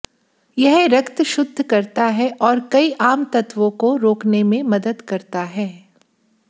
यह रक्त शुद्ध करता है और कई आम तत्वों को रोकने में मदद करता है